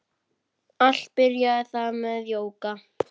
Allt byrjaði það með jóga.